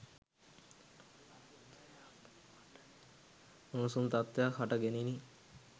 උණුසුම් තත්වයක් හට ගැනිණි